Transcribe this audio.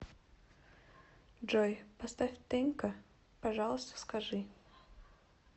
джой поставь тенка пожалуйста скажи